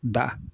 Da